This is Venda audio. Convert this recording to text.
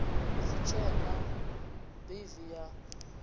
si tshe na ḽivi ya